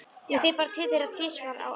Ég fer bara til þeirra tvisvar á ári.